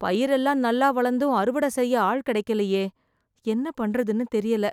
பயிரெல்லாம் நல்லா வளந்தும் அறுவடை செய்ய ஆள் கெடைக்கலியே. என்ன பண்றதுனு தெரியல.